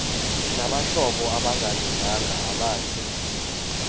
nabahlobo abangalunganga abathi